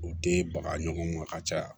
U tɛ baga ɲɔgɔn ma ka caya